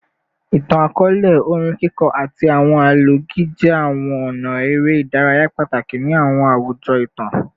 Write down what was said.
Itan-akọọlẹ, orin kiko, ati awọn alọgi jẹ awọn ọna ere idaraya pataki ni awọn awujọ itan